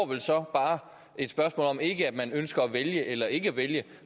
vel så bare et spørgsmål om ikke om man ønsker at vælge eller ikke at vælge